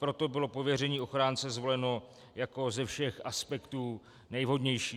Proto bylo pověření ochránce zvoleno jako ze všech aspektů nejvhodnější.